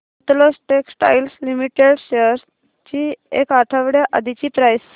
Sutlej textiles limited shares ची एक आठवड्या आधीची प्राइस